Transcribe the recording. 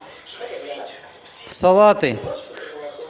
салаты